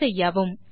ஐ செய்யவும்